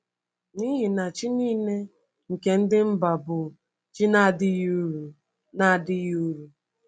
N’ihi na chi niile nke ndị mba bụ chi na-adịghị uru. na-adịghị uru.